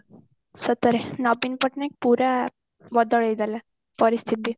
ସତରେ ନବୀନ ପଟ୍ଟନାୟକ ପୁରା ବଦଳେଇ ଦେଲା ପରିସ୍ଥିତି